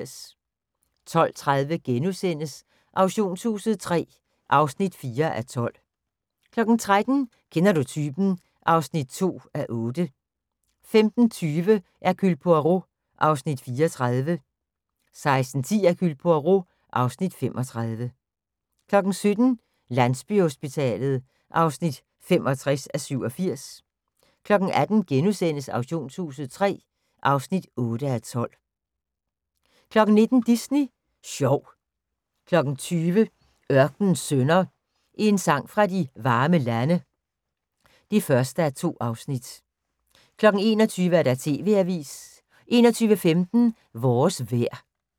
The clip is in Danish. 12:30: Auktionshuset III (4:12)* 13:00: Kender du typen? (2:8) 15:20: Hercule Poirot (Afs. 34) 16:10: Hercule Poirot (Afs. 35) 17:00: Landsbyhospitalet (65:87) 18:00: Auktionshuset III (8:12)* 19:00: Disney sjov 20:00: Ørkenens Sønner – En sang fra de varme lande (1:2) 21:00: TV-avisen 21:15: Vores vejr